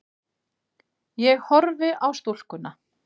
Ég horfi á stúlkuna.